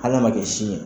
Hal'a ma kɛ si ye